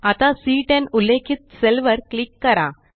आता सी10 उल्लेखित सेल वर क्लिक करा